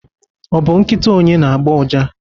ọ bụ nkịta onye na-agbọ ụja?